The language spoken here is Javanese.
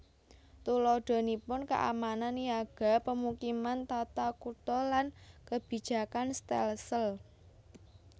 Tuladhanipun keamanan niaga pemukiman tata kutha lan kebijakan stelsel